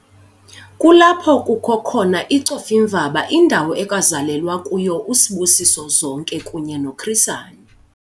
Kulapho kukho khona iCofimvaba indawo ekwazalelwa kuyo uSibusiso Zonke kunye noChris Hani.